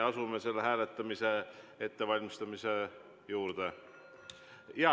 Asume selle hääletamise ettevalmistamise juurde.